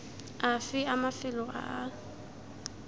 afe a mafelo a a